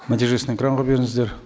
нәтижесін экранға беріңіздер